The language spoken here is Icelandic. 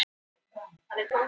Spurning er hver fær sitt fram